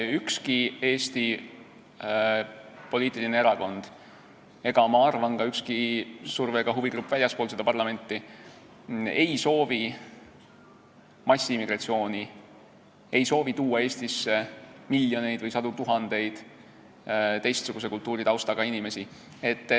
Ükski Eesti erakond, ma arvan, et ka mitte ükski surve- ega huvigrupp väljaspool parlamenti ei soovi massiimmigratsiooni, ei soovi tuua Eestisse miljoneid või sadu tuhandeid teistsuguse kultuuritaustaga inimesi.